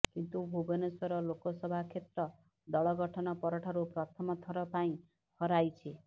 କିନ୍ତୁ ଭୁବନେଶ୍ବର େଲାକସଭା େକ୍ଷତ୍ର ଦଳ ଗଠନ ପରଠାରୁ ପ୍ରଥମ ଥର ପାଇଁ ହରାଇଛି